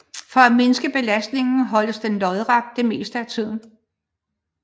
For at mindske belastningen holdes den lodret det meste af tiden